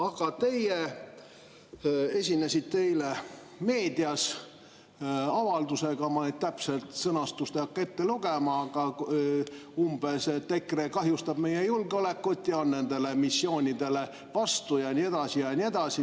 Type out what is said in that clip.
Aga teie esinesite eile meedias avaldusega, ma täpset sõnastust ei hakka ette lugema, aga umbes nii, et EKRE kahjustab meie julgeolekut ja on nendele missioonidele vastu ja nii edasi ja nii edasi.